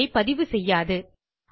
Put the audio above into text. audioஐ பதிவுசெய்யாது